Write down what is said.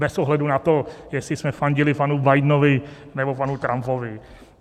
Bez ohledu na to, jestli jsme fandili panu Bidenovi, nebo panu Trumpovi.